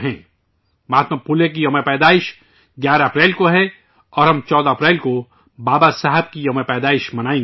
مہاتما پھولے کا یوم پیدائش 11 اپریل کو ہے اور ہم 14 اپریل کو بابا صاحب کا یوم پیدائش منائیں گے